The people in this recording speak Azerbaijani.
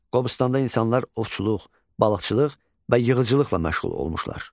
Qobustanda insanlar ovçuluq, balıqçılıq və yığıcılıqla məşğul olmuşlar.